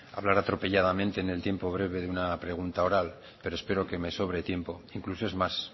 hablar atropelladamente en el tiempo breve de una pregunta oral pero espero que me sobre tiempo incluso es más